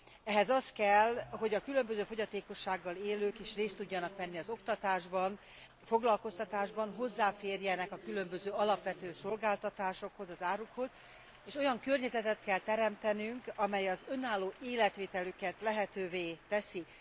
Ehhez az kell, hogy a különböző fogyatékossággal élők is részt tudjanak venni az oktatásban, foglalkoztatásban, hozzáférjenek a különböző alapvető szolgáltatásokhoz, az árukhoz, és olyan környezetet kell teremtenünk, amely az önálló életvitelüket lehetővé teszi.